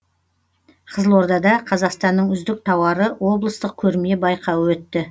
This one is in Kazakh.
қызылордада қазақстанның үздік тауары облыстық көрме байқауы өтті